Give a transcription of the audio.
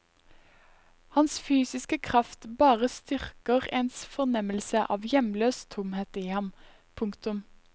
Hans fysiske kraft bare styrker ens fornemmelse av hjemløs tomhet i ham. punktum